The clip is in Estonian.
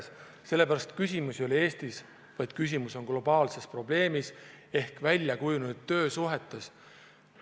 Seda sellepärast, et küsimus ei ole Eestis – see probleem on globaalne ja küsimus on väljakujunenud töösuhetes.